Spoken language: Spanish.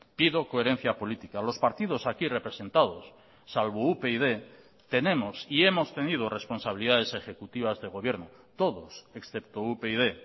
pido coherencia política los partidos aquí representados salvo upyd tenemos y hemos tenido responsabilidades ejecutivas de gobierno todos excepto upyd